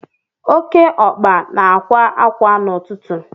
Oké ọkpa na-akwa ákwá n'ụtụtụ